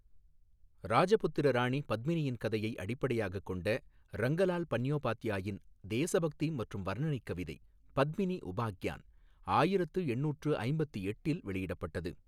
ராஜபுத்திர ராணி பத்மினியின் கதையை அடிப்படையாகக் கொண்ட ரங்கலால் பந்யோபாத்யாயின் தேசபக்தி மற்றும் வர்ணனை கவிதை பத்மினி உபாக்யான் ஆயிரத்து எண்ணூற்று ஐம்பத்தி எட்டில் வெளியிடப்பட்டது.